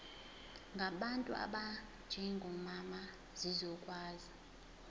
ngabantu abanjengomama zizokwazi